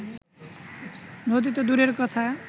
নদী তো দূরের কথা